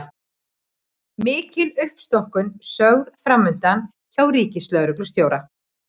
Mikil uppstokkun sögð framundan hjá ríkislögreglustjóra